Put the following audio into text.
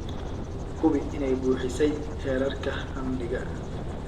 Hubi inay buuxisay heerarka amniga.